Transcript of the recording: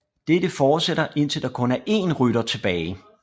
Dette fortsætter indtil der kun er én rytter tilbage